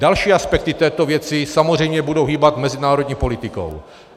Další aspekty této věci samozřejmě budou hýbat mezinárodní politikou.